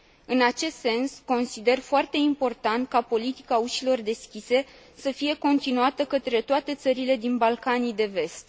În acest sens, consider foarte important ca politica ușilor deschise să fie continuată către toate țările din Balcanii de Vest.